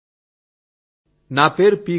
౨ నా పేరు పి